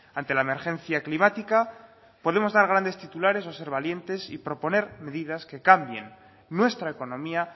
ante la emergencia climática podemos dar grandes titulares o ser valientes y proponer medidas que cambien nuestra economía